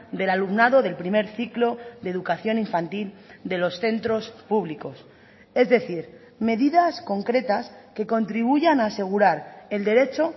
del alumnado del primer ciclo de educación infantil de los centros públicos es decir medidas concretas que contribuyan a asegurar el derecho